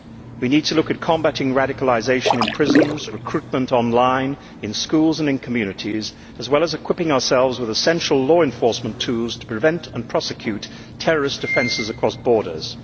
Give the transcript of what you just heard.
We need to look at combating radicalisation in prisons, recruitment online, in schools and in communities, as well as equipping ourselves with essential law enforcement tools to prevent and prosecute terrorist offences across borders.